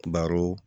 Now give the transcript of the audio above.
Baro